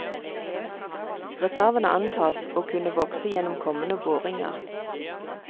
Reservene antas å kunne vokse gjennom kommende boringer.